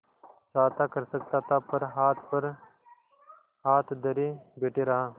चाहता कर सकता था पर हाथ पर हाथ धरे बैठे रहा